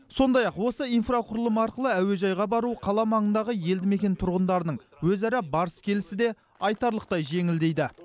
сондай ақ осы инфрақұрылым арқылы әуежайға бару қала маңындағы елді мекен тұрғындарының өзара барыс келісі де айтарлықтай жеңілдейді